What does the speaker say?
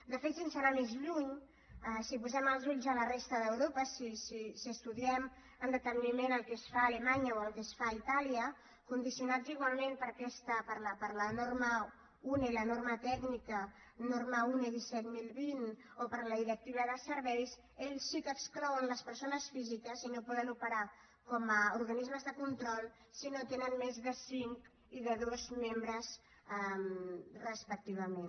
de fet sense anar més lluny si posem els ulls a la resta d’europa si estudiem amb deteniment el que es fa a alemanya o el que es fa a itàlia condicionats igualment per la norma tècnica une disset mil vint o per la directiva de serveis ells sí que n’exclouen les persones físiques i no poden operar com a organismes de control si no tenen més de cinc i de dos membres respectivament